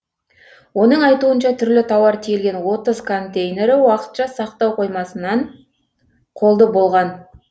оның айтуынша түрлі тауар тиелген отыз контейнері уақытша сақтау қоймасынан қолды болған